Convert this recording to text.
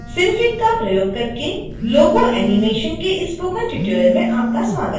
synfig का प्रयोग करके logo animation के इस स्पोकन ट्यूटोरियल में आपका स्वागत है